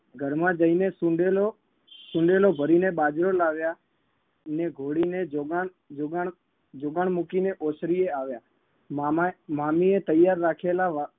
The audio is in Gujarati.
ઘરમાં જઈને સુંબેલો સુંબેલો ભરીને બાજરો લાવ્યા ને ઘોડીને જોગણ જોગણ જોગણ મૂકીને ઓસરીએ આવ્યા મામાએ મામીએ તૈયાર રાખેલા વા